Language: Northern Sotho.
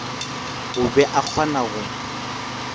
o be a kgona go